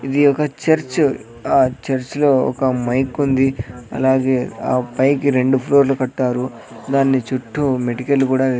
ఇది ఒక చర్చు ఆ చర్చ్ లో ఒక మైక్ ఉంది అలాగే ఆ పైకి రెండు ఫ్లోర్ లు కట్టారు దాన్ని చుట్టూ మెటికలు కూడా వే --